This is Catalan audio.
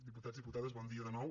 diputats diputades bon dia de nou